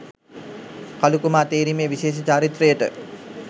කළුකුමා තේරීමේ විශේෂ චාරිත්‍රයට